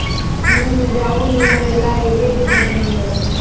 ಹ್ಮ್‌ ground ಎಲ್ಲಾ ಹೇಗಿದೆ ಅಂತ ನೋಡ್ಬೇಕಲ್ಲ.